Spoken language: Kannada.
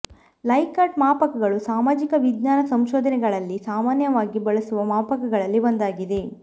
ಲೈಕರ್ಟ್ ಮಾಪಕಗಳು ಸಾಮಾಜಿಕ ವಿಜ್ಞಾನ ಸಂಶೋಧನೆಗಳಲ್ಲಿ ಸಾಮಾನ್ಯವಾಗಿ ಬಳಸುವ ಮಾಪಕಗಳಲ್ಲಿ ಒಂದಾಗಿದೆ